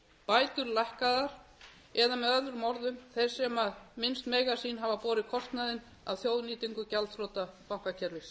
bætur lækkaðar eða með öðrum orðum þeir sem minnst mega sín hafa borið kostnaðinn af þjóðnýtingu gjaldþrota bankakerfis